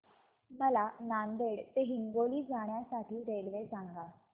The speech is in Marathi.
मला नांदेड ते हिंगोली जाण्या साठी रेल्वे सांगा